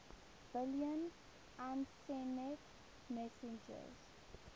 billion usenet messages